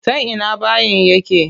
Ta ina bayin yake?